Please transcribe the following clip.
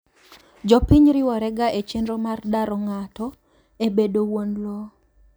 Jopiny riworega echenro mag daro ng'ato ebedo wuon lowo.